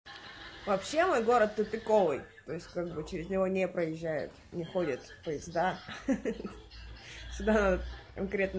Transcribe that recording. вообще мой город тупиковый путь через него не проезжают не ходят поезда ха-ха сюда конкретно